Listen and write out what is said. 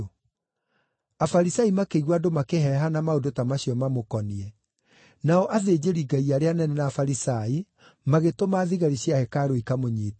Afarisai makĩigua andũ makĩheehana maũndũ ta macio mamũkoniĩ. Nao athĩnjĩri-Ngai arĩa anene na Afarisai magĩtũma thigari cia hekarũ ikamũnyiite.